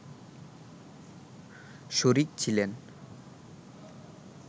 শরিক ছিলেন